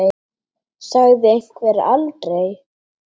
Sagði einhver aldrei?